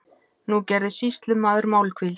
Nú gerði sýslumaður málhvíld.